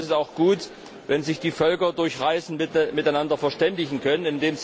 Insofern ist es auch gut, wenn sich die Völker durch Reisen miteinander verständigen können.